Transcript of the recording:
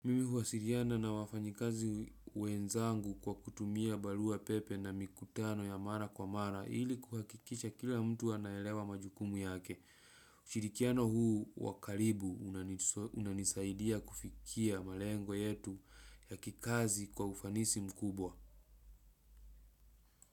Mimi huwasiriana na wafanyikazi wenzangu, kwa kutumia baluwa pepe na mikutano ya mara kwa mara ili kuhakikisha kila mtu anaelewa majukumu yake. Shirikiano huu wakaribu unanisaidia kufikia malengo yetu ya kikazi kwa ufanisi mkubwa.